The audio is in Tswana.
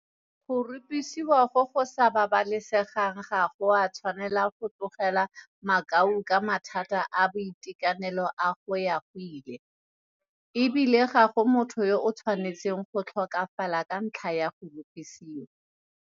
Go rupisiwa go go sa babalesegang ga go a tshwanela go tlogela makau ka mathata a boitekanelo a go ya go ile, e bile ga go motho yo a tshwanetseng go tlhokafala ka ntlha ya go rupisiwa.